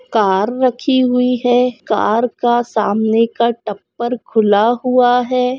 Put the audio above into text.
Car रखी हुई है कार का सामने का टप्पर खुला हुआ है।